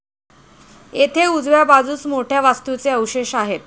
येथे उजव्या बाजूस मोठ्या वास्तूचे अवशेष आहेत.